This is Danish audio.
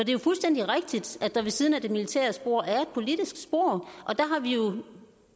jo fuldstændig rigtigt at der ved siden af det militære spor er et politisk spor og der